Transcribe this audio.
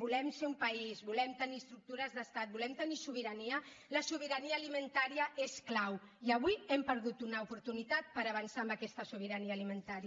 volem ser un país volem tenir es·tructures d’estat volem tenir sobirania la sobirania alimentària és clau i avui hem perdut una oportunitat per avançar en aquesta sobirania parlamentària